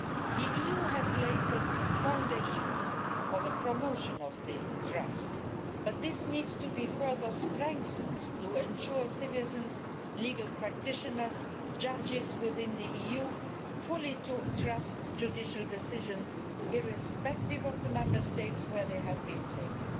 The EU has laid the foundations for promotion of this trust but this needs to be further strengthened to ensure citizens, legal practitioners and judges within the EU fully trust judicial decisions irrespective of the Member States where they have been taken.